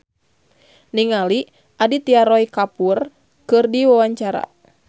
Gading Marten olohok ningali Aditya Roy Kapoor keur diwawancara